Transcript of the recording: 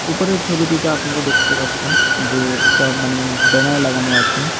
উপরের ছবিটিতে আপনারা দেখতে পাচ্ছেন যে একটা মানে ব্যানার লাগানো আছে।